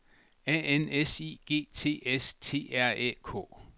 A N S I G T S T R Æ K